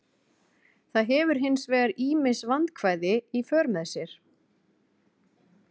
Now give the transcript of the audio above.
Það hefur hins vegar ýmis vandkvæði í för með sér.